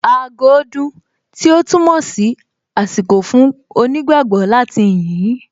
Aago dún, tí ó túmọ̀ sí àsìkò fún onígbágbọ̀ọ́ láti yìn ín